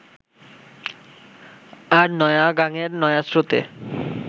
আর নয়া গাঙের নয়া স্রোতে